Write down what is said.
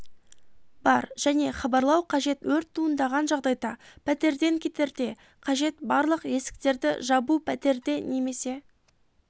бар және хабарлау қажет өрт туындаған жағдайда пәтерден кетерде қажет барлық есіктерді жабу пәтерде немес